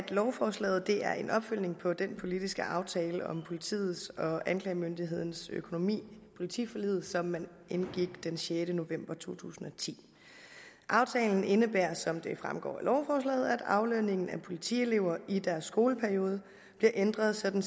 lovforslaget er en opfølgning på den politiske aftale om politiets og anklagemyndighedens økonomi politiforliget som man indgik den sjette november to tusind og ti aftalen indebærer som det fremgår af lovforslaget at aflønningen af politielever i deres skoleperiode bliver ændret sådan